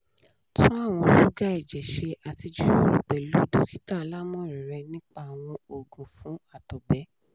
tun awọn suga ẹjẹ ṣe ati jiroro pẹlu dokita alamọran rẹ nipa awọn oogun fun àtọgbẹ